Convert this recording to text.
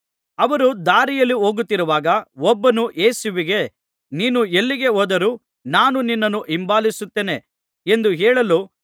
ಅವರು ದಾರಿಯಲ್ಲಿ ಹೋಗುತ್ತಿರುವಾಗ ಒಬ್ಬನು ಯೇಸುವಿಗೆ ನೀನು ಎಲ್ಲಿಗೆ ಹೋದರೂ ನಾನು ನಿನ್ನನ್ನು ಹಿಂಬಾಲಿಸುತ್ತೇನೆ ಎಂದು ಹೇಳಲು